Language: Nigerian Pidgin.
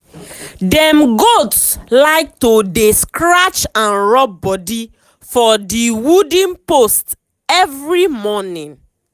dem goat like to dey stretch and rub body for the wooden post every morning.